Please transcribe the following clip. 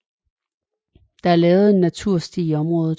Der er lavet en natursti i området